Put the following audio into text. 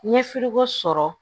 N ye sɔrɔ